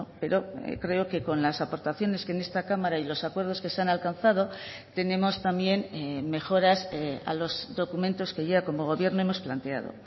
pero creo que con las aportaciones que en esta cámara y los acuerdos que se han alcanzado tenemos también mejoras a los documentos que ya como gobierno hemos planteado